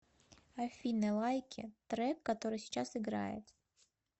афина лайки трек который сейчас играет